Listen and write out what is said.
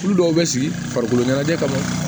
Olu dɔw bɛ sigi farikolo ɲɛnajɛ kama